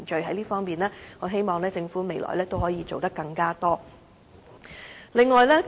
在這方面，我希望政府未來可以做得更多。